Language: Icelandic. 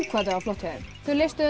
þetta var flott hjá þeim þau leystu þetta